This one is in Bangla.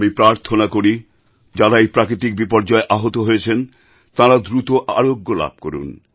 আমি প্রার্থনা করি যাঁরা এই প্রাকৃতিক বিপর্যয়ে আহত হয়েছেন তাঁরা দ্রুত আরোগ্য লাভ করুন